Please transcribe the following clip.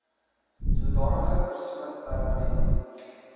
sodanige persoon permanent